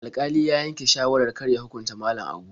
Alƙalin ya yanke shawarar kar ya hukunta Malam Abu.